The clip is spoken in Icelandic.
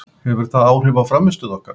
Hefur það áhrif á frammistöðu okkar?